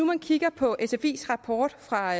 man kigger på sfis rapport fra